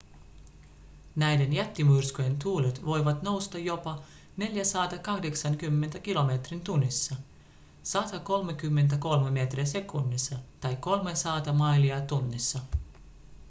näiden jättimyrskyjen tuulet voivat nousta jopa 480 kilometriin tunnissa 133 metriä sekunnissa tai 300 mailia tunnissa